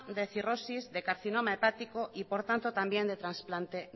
de cirrosis de carcinoma hepático y por tanto también de trasplante